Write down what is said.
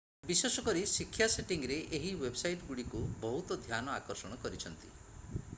ବିଶେଷକରି ଶିକ୍ଷା ସେଟିଂରେ ଏହି ୱେବସାଇଟ୍ ଗୁଡିକ ବହୁତ ଧ୍ୟାନ ଆକର୍ଷଣ କରିଛନ୍ତି